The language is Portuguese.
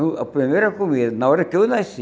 eu A primeira comida, na hora que eu nasci.